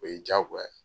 O ye diyagoya ye